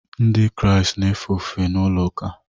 Ndị Kraịst na-efe ofufe na ụlọ ụka